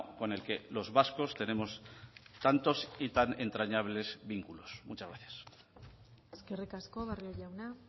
con el que los vascos tenemos tantos y tan entrañables vínculos muchas gracias eskerrik asko barrio jauna